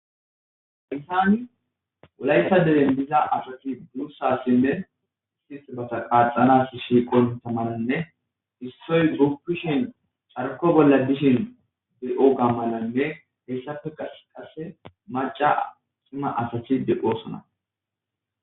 haysani wulayetha deren diza asati durussa sinne si basa qaaxanas shiiqon tamananne issoy guppishin carko bolla dishin de7o gammalanne hessafe aqasse maca sima asati deqosona